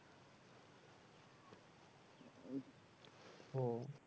ওহ